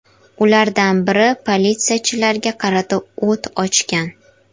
Ulardan biri politsiyachilarga qarata o‘t ochgan.